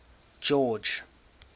george